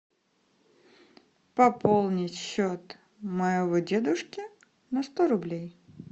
пополнить счет моего дедушки на сто рублей